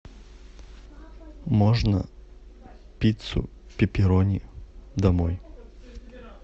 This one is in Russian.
можно пиццу пепперони домой